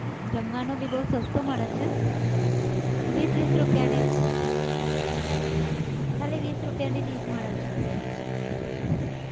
જમવાનું બી બહુ સસ્તું મળે છે વીસ વીસ રૂપિયાની જ ખાલી વીસ રૂપિયાની dish મળે છે.